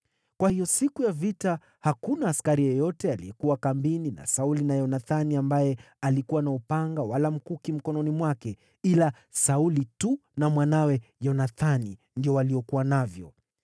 Kwa hiyo siku ya vita hakuna askari yeyote aliyekuwa kambini na Sauli na Yonathani ambaye alikuwa na upanga wala mkuki mkononi mwake; Sauli tu na mwanawe Yonathani ndio waliokuwa navyo.